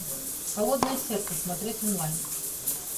холодное сердце смотреть онлайн